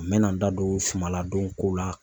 N mɛ na n da don suma ladon kow la.